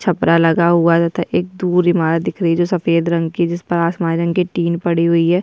छपरा लगा हुआ तथा एक दूर इमारत दिख रही है जो सफेद रंग की जिस पर आसमानी रंग के टिन पड़ी हुई है।